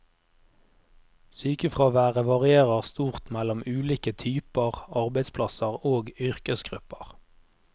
Sykefraværet varierer stort mellom ulike typer arbeidsplasser og yrkesgrupper.